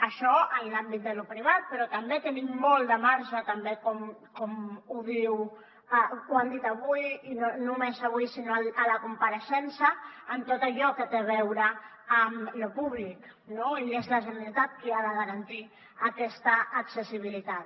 això en l’àmbit de lo privat però també tenim molt de marge també ho han dit avui i no només avui sinó a la compareixença amb tot allò que té a veure amb lo públic no i és la generalitat qui ha de garantir aquesta accessibilitat